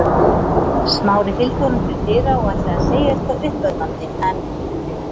Smári fylgdi honum til dyra og ætlaði að segja eitthvað uppörvandi en